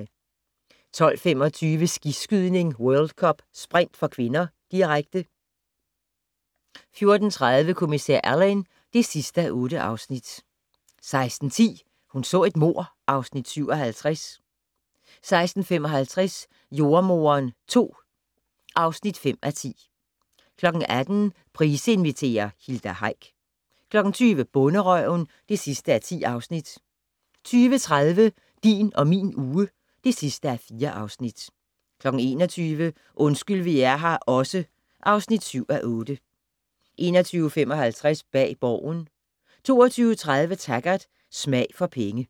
12:25: Skiskydning: World Cup - sprint (k), direkte 14:30: Kommissær Alleyn (8:8) 16:10: Hun så et mord (Afs. 57) 16:55: Jordemoderen II (5:10) 18:00: Price inviterer - Hilda Heick 20:00: Bonderøven (10:10) 20:30: Din og min uge (4:4) 21:00: Undskyld vi er her også (7:8) 21:55: Bag Borgen 22:30: Taggart: Smag for penge